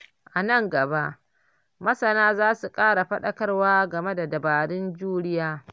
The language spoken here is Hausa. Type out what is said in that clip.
A nan gaba, masana za su ƙara faɗakarwa game da dabarun juriya.